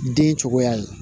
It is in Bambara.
Den cogoya ye